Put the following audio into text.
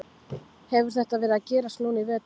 Hefur þetta verið að gerast núna í vetur?